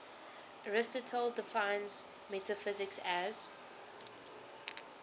aristotle defines metaphysics as